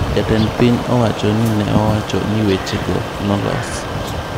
Jatend piny owachono ne owacho ni weche go nolos.